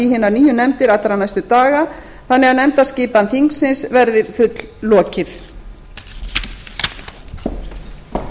hinar nýju nefndir allra næstu daga þannig að nefndaskipan þingsins verði fulllokið